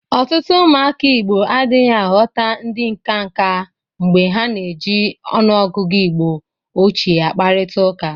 Ọtụtụ ụmụaka Igbo adịghị aghọta ndị nkanka mgbe ha na-eji ọnụọgụgụ Igbo ochie akparịtaụka.